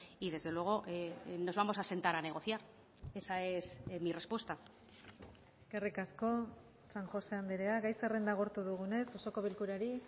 y desde luego nos vamos a sentar a negociar esa es mi respuesta eskerrik asko san josé andrea gai zerrenda agortu dugunez osoko bilkurari